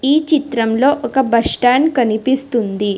ఈ చిత్రంలో ఒక బస్టాండ్ కనిపిస్తుంది.